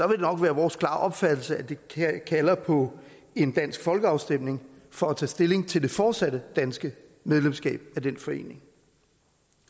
det nok være vores klare opfattelse at det kalder på en dansk folkeafstemning for tage stilling til det fortsatte danske medlemskab af den forening